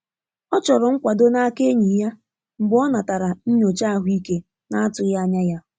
Ọ chọrọ nkwado n'aka enyi ya mgbe ọ natara nyocha ahụike na-atụghị anya ya.